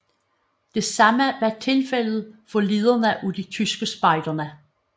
Det samme var tilfældet for lederne af de tyske spejdere